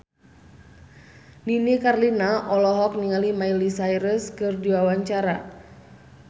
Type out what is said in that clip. Nini Carlina olohok ningali Miley Cyrus keur diwawancara